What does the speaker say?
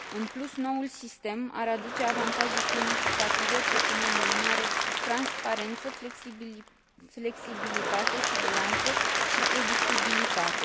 În plus, noul sistem ar aduce avantaje semnificative, precum o mai mare transparență, flexibilitate, siguranță și predictibilitate.